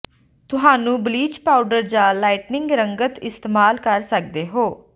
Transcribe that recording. ਤੁਹਾਨੂੰ bleach powder ਜ lightening ਰੰਗਤ ਇਸਤੇਮਾਲ ਕਰ ਸਕਦੇ ਹੋ